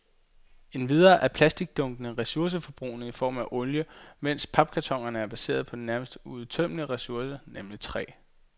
Endvidere er plastikdunkene ressourceforbrugende i form af olie, mens papkartonerne er baseret på en nærmest uudtømmelig ressource, nemlig træ.